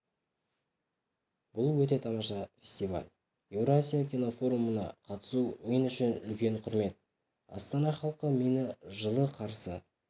бұл өте тамаша фестиваль еуразия кинофорумына қатысу мен үшін үлкен құрмет астана халқы мені жылы қарсы